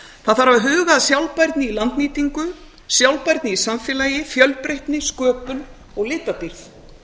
það þarf að huga að sjálfbærni í landnýtingu sjálfbærni í samfélagi fjölbreytni sköpun og litadýrð